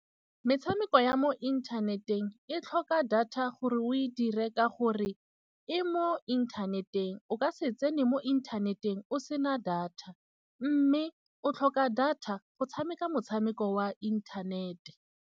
Metshameko ya mo inthaneteng e tlhoka data gore o e dire ka gore e mo inthaneteng. O ka se tsene mo inthaneteng o sena data mme o tlhoka data go tshameka motshameko wa inthanete.